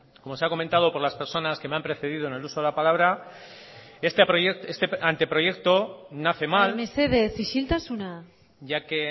como se ha comentado por las personas que me han precedido en el uso de la palabra este anteproyecto nace mal mesedez isiltasuna ya que